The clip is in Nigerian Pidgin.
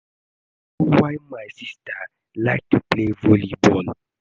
I no know why my sister like to play volley ball